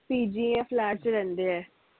PG ਜਾ flat ਚ ਰਹਿੰਦੇ ਐ